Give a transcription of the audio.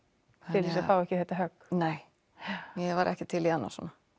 til þess að fá ekki þetta högg nei ég var ekki til í annað svona